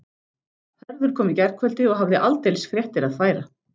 Hörður kom í gærkvöldi og hafði aldeilis fréttir að færa.